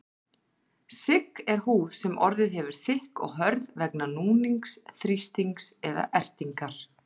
Sigg er húð sem orðið hefur þykk og hörð vegna núnings, þrýstings eða ertingar.